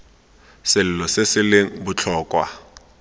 selo se se leng botlhokwa